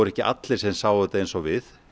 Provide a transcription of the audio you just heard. ekki allir sem sáu þetta eins og við